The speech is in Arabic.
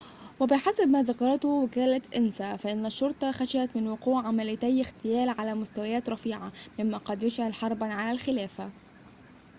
وبحسب ما ذكرته وكالة أنسا فإن الشّرطة خشيت من وقوع عمليّتي اغتيال على مستويات رفيعة ممّا قد يشعل حرباً على الخلافة